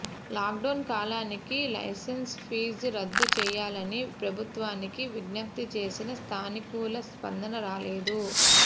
lockdown కాలానికి licence fee రద్దు చేయాలని ప్రభుత్వానికి విజ్ఞప్తి చేసినా సానుకూల స్పందన రాలేదు